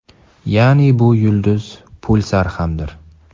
Ya’ni bu yulduz pulsar hamdir.